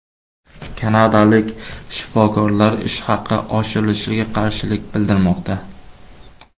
Kanadalik shifokorlar ish haqi oshirilishiga qarshilik bildirmoqda.